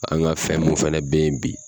An ka fɛn mun fɛnɛ bɛ ye bi.